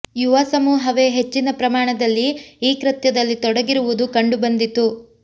ಯುವ ಸಮೂಹವೇ ಹೆಚ್ಚಿನ ಪ್ರಮಾಣದಲ್ಲಿ ಈ ಕೃತ್ಯದಲ್ಲಿ ತೊಡಗಿರುವುದು ಕಂಡು ಬಂದಿತು